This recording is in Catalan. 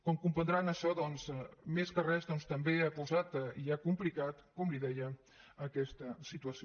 com deuen comprendre això més que res doncs també ha posat i ha complicat com li deia aquesta situació